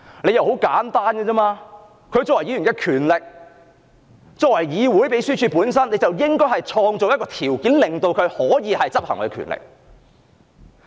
理由很簡單，她作為議員有此權力，議會的秘書處應創造條件讓她行使這項權力。